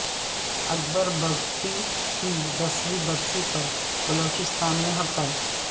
اکبر بگٹی کی دسویں برسی پر بلوچستان میں ہڑتال